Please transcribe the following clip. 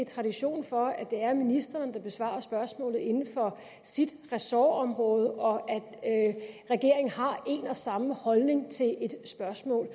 tradition for at det er ministeren der besvarer spørgsmålet inden for sit ressortområde og at regeringen har en og samme holdning til et spørgsmål